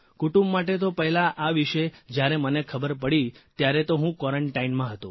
કુટુંબ માટે તો પહેલાં આ વિષે જયારે મને ખબર પડી ત્યારે તો હું ક્વોરન્ટાઇનમાં હતો